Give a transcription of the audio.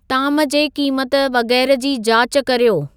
ताम जे क़ीमत वग़ैरह जी जाच कर्यो